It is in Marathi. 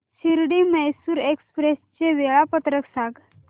शिर्डी मैसूर एक्स्प्रेस चे वेळापत्रक सांग